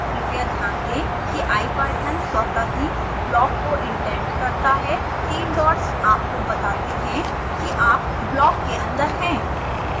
कृपया ध्यान दें कि ipython स्वतः ही block को इंडेंट करता है